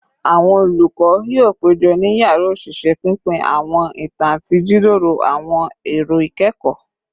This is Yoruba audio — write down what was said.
Awọn olukọ yoo pejọ ni yara oṣiṣẹ, pinpin awọn itan ati jiroro awọn ero ikẹkọ